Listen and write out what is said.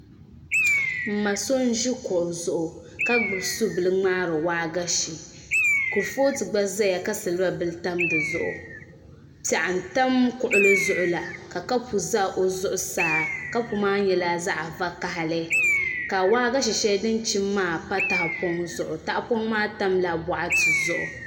N ma so n ʒi kuɣu zuɣu ka gbubi subili ŋmaari waagashe kurifooti gba ʒɛya ka silba bili tam di zuɣu piɛɣu n tam kuɣuli zuɣu la ka kapu ʒɛ o zuɣu saa kapu maa nyɛla zaɣ vakaɣali ka waagashe shɛli din chim maa pa tahapoŋ zuɣu tahapoŋ maa tamla boɣati zuɣu